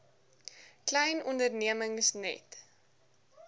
klein ondernemings net